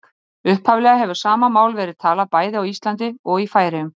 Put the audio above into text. Upphaflega hefur sama mál verið talað bæði á Íslandi og í Færeyjum.